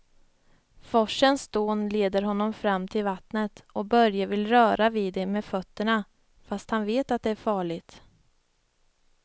Forsens dån leder honom fram till vattnet och Börje vill röra vid det med fötterna, fast han vet att det är farligt.